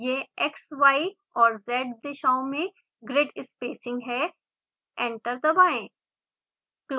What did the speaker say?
यह x y और z दिशाओं में ग्रिड स्पेसिंग है एंटर दबाएं